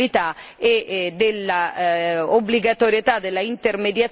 dell'obbligatorietà della intermediazione delle associazioni.